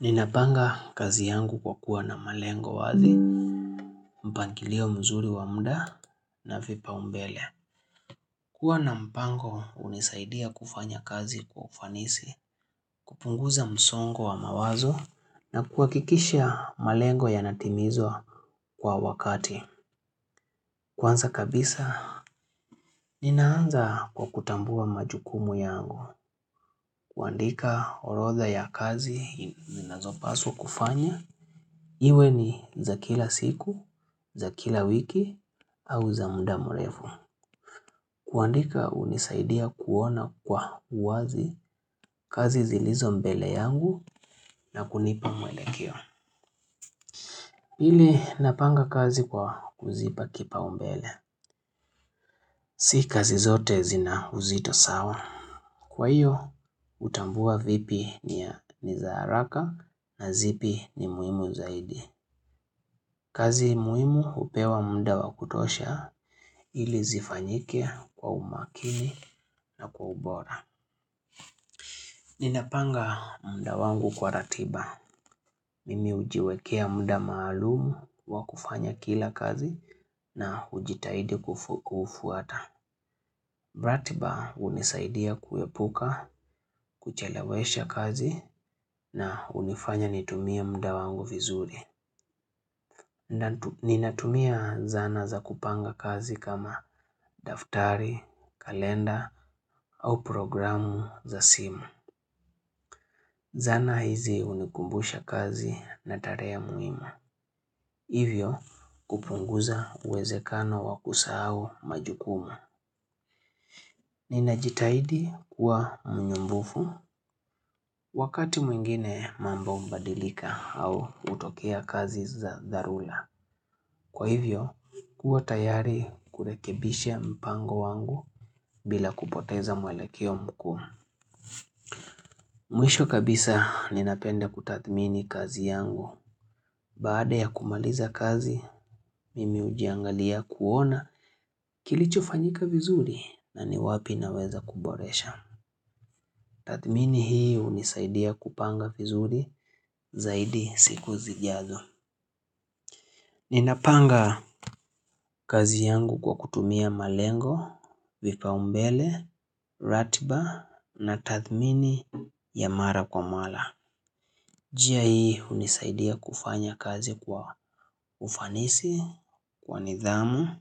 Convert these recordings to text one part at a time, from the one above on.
Ninapanga kazi yangu kwa kuwa na malengo wazi, mpangilio mzuri wa mda na vipa umbele. Kua na mpango hunisaidia kufanya kazi kwa ufanisi, kupunguza msongo wa mawazo na kuhakikisha malengo ya natimizwa kwa wakati. Kwanza kabisa, ninaanza kwa kutambua majukumu yangu, kuandika orodha ya kazi, ninazo paswa kufanya. Iwe ni za kila siku, za kila wiki, au za muda mrefu. Kuandika hunisaidia kuona kwa uwazi kazi zilizo mbele yangu na kunipa mwelekeo. Pili napanga kazi kwa kuzipa kipaumbele. Si kazi zote zina uzito sawa. Kwa hiyo, hutambua vipi ni za haraka na zipi ni muhimu zaidi. Kazi muihimu hupewa mda wa kutosha ili zifanyike kwa umakini na kwa ubora. Nina panga mda wangu kwa ratiba. Mimi hujiwekea mda maalumu wa kufanya kila kazi na hujitahidi kufuata. Ratiba hunisaidia kuepuka, kuchelewesha kazi na hunifanya nitumie mda wangu vizuri. Ninatumia zana za kupanga kazi kama daftari, kalenda au programu za simu. Zana hizi hunikumbusha kazi na tarehe muhimu. Hivyo kupunguza uwezekano wakusahau majukumu. Ninajitahidi kuwa mnyumbufu wakati mwingine mambo hubadilika au utokea kazi za dharura. Kwa hivyo, kuwa tayari kurekebisha mpango wangu bila kupoteza mwelekeo mkuu. Mwisho kabisa ninapenda kutathmini kazi yangu. Baada ya kumaliza kazi, mimi ujiangalia kuona kilicho fanyika vizuri na ni wapi naweza kuboresha. Tathmini hii hunisaidia kupanga vizuri zaidi siku zijazo. Ninapanga kazi yangu kwa kutumia malengo, vipaumbele, ratiba na tathmini ya mara kwa mara. Jia hii unisaidia kufanya kazi kwa ufanisi, kwa nidhamu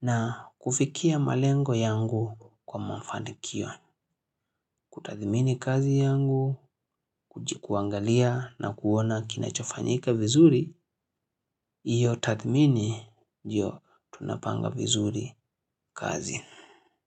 na kufikia malengo yangu kwa mafanikio. Kutathimini kazi yangu, kujikuangalia na kuona kinachofanyika vizuri, iyo tathimini, njyo tunapanga vizuri kazi.